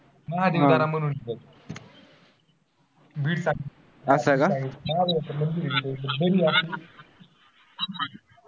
असं का?